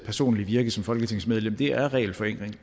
personlige virke som folketingsmedlem er regelforenkling